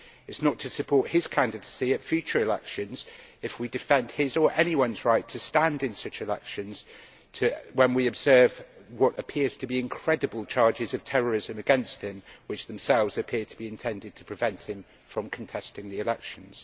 It is not to support his candidacy at future elections if we defend his, or anyone's right, to stand in such elections or when we observe what appear to be incredible charges of terrorism against him, which themselves appear to be intended to prevent him from contesting the elections.